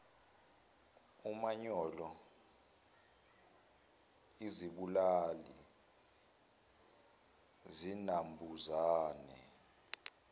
umanyolo izibulali zinambuzane